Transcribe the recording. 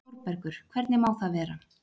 ÞÓRBERGUR: Hvernig má það vera?